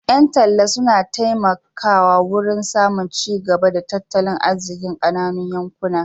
Ƴan talla suna taimaka wurin samun cigaba a tattalin arzikin ƙananun yankuna.